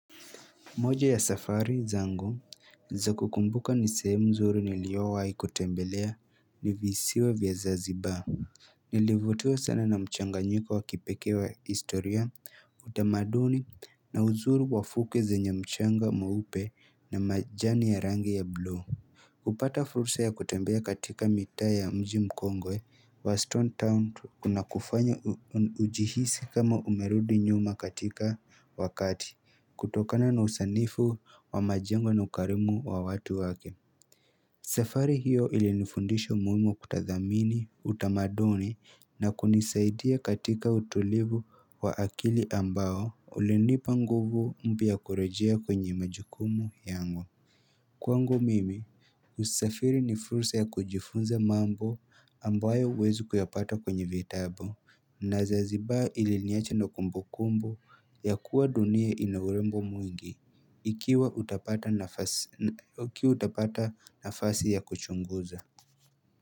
Moja ya safari zangu za kukumbuka ni sehemu nzuri niliyowahi kutembelea ni visiwa vya zanziba. Nilivutiwa sana na mchanganyiko wa kipekee wa historia utamaduni na uzuri wa fuke zenye mchanga mweupe na majani ya rangi ya bluu. Kupata fursa ya kutembea katika mitaa ya mji mkongwe wa Stone Town unakufanya ujihisi kama umerudi nyuma katika wakati kutokana na usanifu wa majengo na ukarimu wa watu wake safari hiyo ilinifundisho umuhimu kutathmini, utamaduni na kunisaidia katika utulivu wa akili ambao ulinipa nguvu mpya ya kurejea kwenye majukumu yangu Kwangu mimi, usafiri ni fursa ya kujifunza mambo ambayo huwezi kuyapata kwenye vitabu na zanziba iliniacha na kumbukumbu ya kuwa dunia ina urembo mwingi ikiwa utapata nafasi ya kuchunguza.